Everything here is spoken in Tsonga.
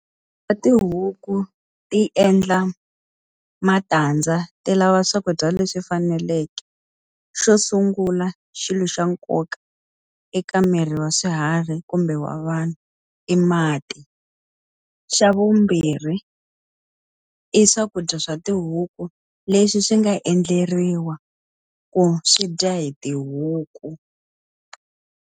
Tihuku ti endla matandza ti lava swakudya leswi faneleke. Xo sungula xilo xa nkoka eka miri wa swiharhi kumbe wa vanhu, i mati. Xa vumbirhi i swakudya swa tihuku leswi swi nga endleriwa ku swi dya hi tihuku.